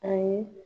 Ayi